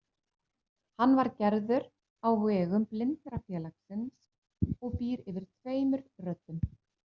Hann var gerður á vegum Blindrafélagsins og býr yfir tveimur röddum.